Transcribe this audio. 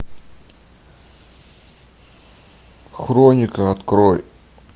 хроника открой